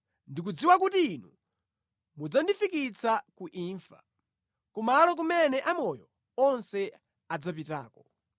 Ndikudziwa kuti Inu mudzandifikitsa ku imfa, kumalo kumene amoyo onse adzapitako.